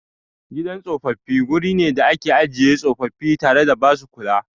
Gidan tsofaffi guri ne da ake ajiye tsofaffi tare da ba su kula.